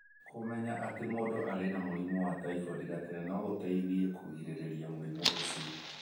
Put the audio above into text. Kũmenya atĩ mũndũ arĩ na mũrimũ wa typhoid gatene no gũteithie kũgirĩrĩria mũrimũ ũcio